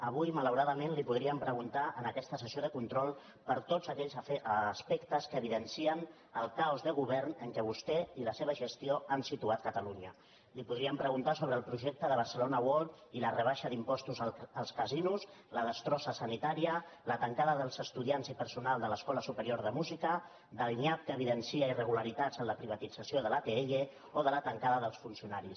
avui malau·radament li podríem preguntar en aquesta sessió de control per tots aquells aspectes que evidencien el ca·os de govern en què vostè i la seva gestió han situat catalunya li podríem preguntar sobre el projecte de barcelona world i la rebaixa d’impostos als casinos la destrossa sanitària la tancada dels estudiants i perso·nal de l’escola superior de música sobre el nyap que evidencia irregularitats en la privatització de l’atll o sobre la tancada dels funcionaris